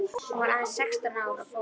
Hún var aðeins sextán ár á fótum.